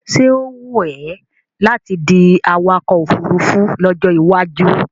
Ṣé ó wùn é láti di awakọ̀ ofurufú lọ́jọ́ iwájú?